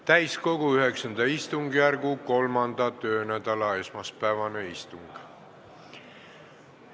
Täiskogu IX istungjärgu kolmanda töönädala esmaspäevane istung.